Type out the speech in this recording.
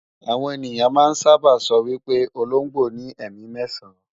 Àwọn ènìyàn máa ń sábà sọ wí pé ológbò ní ẹ̀mí mẹ́ẹ̀sán